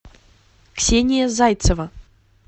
ксения зайцева